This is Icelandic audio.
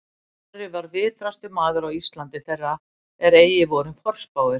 Snorri var vitrastur maður á Íslandi þeirra er eigi voru forspáir